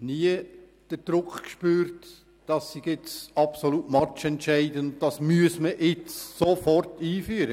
ich nie von einem Praktiker den Druck gespürt, dies sei absolut matchentscheidend und man müsse das sofort einführen.